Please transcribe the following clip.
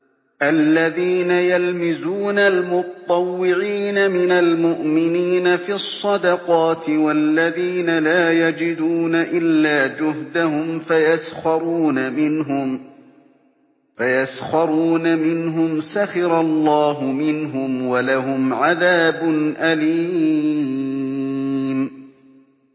الَّذِينَ يَلْمِزُونَ الْمُطَّوِّعِينَ مِنَ الْمُؤْمِنِينَ فِي الصَّدَقَاتِ وَالَّذِينَ لَا يَجِدُونَ إِلَّا جُهْدَهُمْ فَيَسْخَرُونَ مِنْهُمْ ۙ سَخِرَ اللَّهُ مِنْهُمْ وَلَهُمْ عَذَابٌ أَلِيمٌ